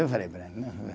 Eu falei